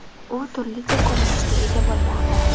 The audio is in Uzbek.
U turlicha ko‘rinishga ega bo‘lmoqda.